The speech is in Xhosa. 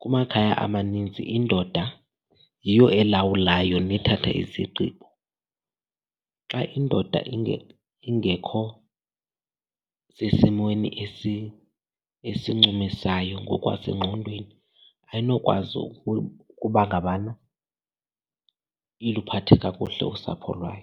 kumakhaya amaninzi indoda yiyo elawulayo nethatha izigqibo. Xa indoda ingekho sesimweni esincumisayo ngokwasengqondweni, ayinokwazi ukuba ngabana iluphathe kakuhle usapho lwayo.